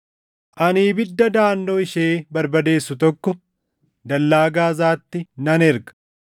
ani ibidda daʼannoo ishee barbadeessu tokko dallaa Gaazaatti nan erga.